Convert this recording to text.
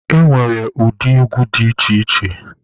E nwere ụdị egwu dị iche iche.